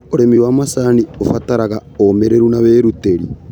ũrĩmi wa macani ũbataraga ũumĩrĩru na wĩrutĩri.